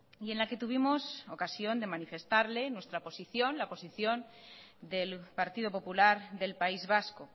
y en la que tuvimos ocasión de manifestarle nuestra posición la posición del partido popular del país vasco